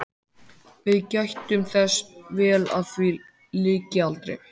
Þarna vann Gerður stóra lágmynd úr smíðajárni í þremur víddum.